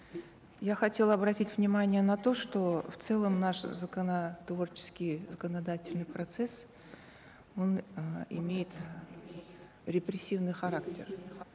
я хотела обратить внимание на то что в целом наш законотворческий законодательный процесс он э имеет репрессивный характер